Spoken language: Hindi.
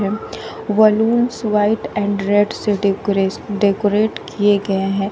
वलूंस व्हाइट एंड रेड से डेकोरेस डेकोरेट किए गए हैं।